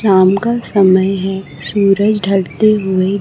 शाम का समय है सुरज ढलते हुए--